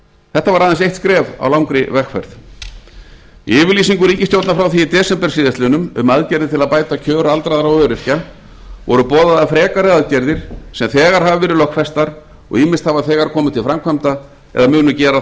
þetta var aðeins eitt skref á langri vegferð í yfirlýsingu ríkisstjórnar frá því í desember síðastliðnum um aðgerðir til að bæta kjör aldraðra og öryrkja voru boðaðar frekari aðgerðir sem þegar hafa verið lögfestar og ýmist hafa þegar komið til framkvæmda eða munu gera